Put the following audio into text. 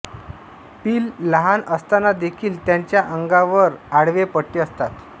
पिलं लहान असतानादेखील त्यांच्या अंगावर आडवे पट्टे असतात